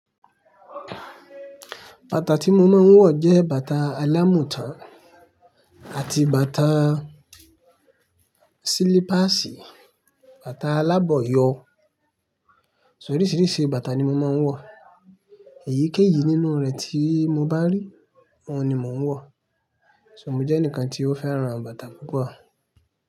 Bàtà tí mo máa ń wọ̀ jẹ́ bàtà alámùtán àti bàtà silipasì, bàtà alábọ̀yọ̀. So oríṣiríṣi bàtà ni mo máa ń wọ̀. Èyíkéyìí nínú rẹ̀ tí mo bá rí, ọ́hun ni mò ń wọ̀. Mo jẹ ẹnìkan to fẹ́ràn bàtà púpò.